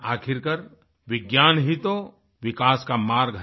आखिरकार विज्ञान ही तो विकास का मार्ग है